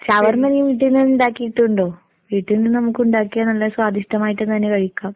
ഷവർമ്മ നീ വീട്ടീന്ന് ഇണ്ടാക്കീട്ടുണ്ടോ? വീട്ടീന്ന് നമുക്കുണ്ടാക്കിയാൽ നല്ല സ്വാദിഷ്ടമായിട്ട് തന്നെ കഴിക്കാം.